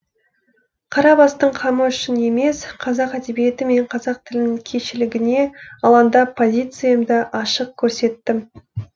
қара бастың қамы үшін емес қазақ әдебиеті мен қазақ тілінің кешілегіне алаңдап позициямды ашық көрсеттім